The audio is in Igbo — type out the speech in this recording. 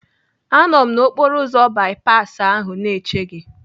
Anọ m n'okporoụzọ bipasi ahụ na-eche gị.